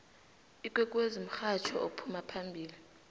ikwekwezi mhatjho ophuma phambili